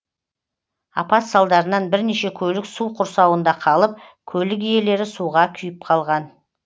апат салдарынан бірнеше көлік су құрсауында қалып көлік иелері суға күйіп қалған